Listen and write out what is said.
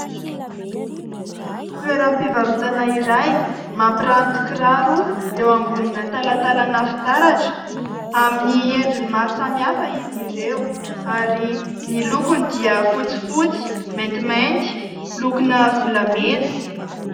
Toeram-pivarotana iray mampiranty kiraro eo ambonina talantalana fitaratra : amin'ny endriny maro samihafa izy ireo ary ny lokony dia fotsifotsy, maintimainty, lokona volamena...